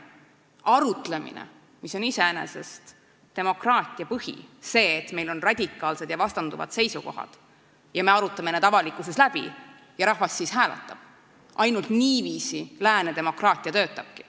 Arutlemine on ju iseenesest demokraatia põhi – see, et meil on radikaalsed ja vastanduvad seisukohad, mis me avalikkuses läbi arutame, ja rahvas siis hääletab –, ainult niiviisi lääne demokraatia töötabki.